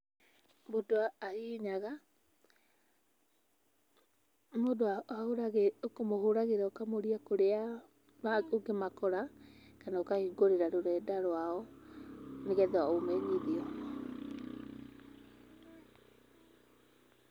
Mũndũ ahihinyaga, mũndũ ahũraga ũkamũhũragĩra ũkamũria kũrĩa ngũkĩmakora kana ũkahingũrĩra rũrenda rwao nĩ getha ũmenyithio.